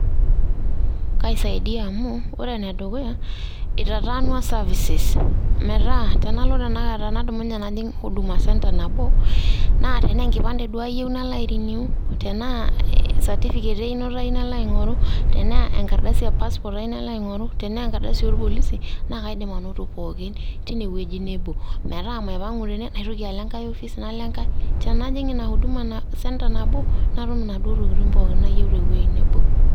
Kaisaidia amu ore ene dukuya naa eitataanwa services metaa tenalo tenaka tenadumunye najing huduma centre nabo naa tenaa enkipante duoo ayieu .nalo ai renew tenaa certificate einoto ayieu nalo aingoru ,tenaa enkardasi e passport ayieu nalo aingoru, tenaa enkardasi oorpolisi naa kaidim anoto pookin teine wueji nebo metaa maipangu tene naitoki alo enkae ofis nalo enkae tenajing ina huduma cntre nabo natum inaduoo tokitin pookin nayieu tewuei nebo